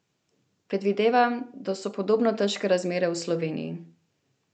Predvidevam, da so podobno težke razmere v Sloveniji.